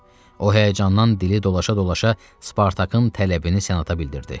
O həyəcandan dili dolaşa-dolaşa Spartakın tələbini senata bildirdi.